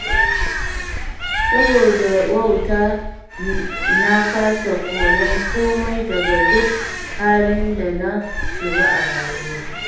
Saboda wauta na kasa koyon komai daga duk halin da na shiga a rayuwa.